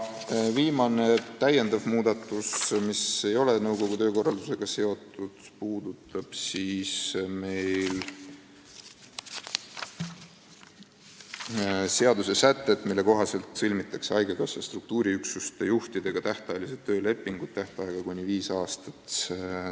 Viimane muudatus – see ei ole nõukogu töökorraldusega seotud – puudutab praegust seadussätet, mille kohaselt sõlmitakse haigekassa struktuuriüksuste juhtidega tähtajalised töölepingud tähtajaga kuni viis aastat.